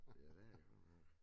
Ja det godt nok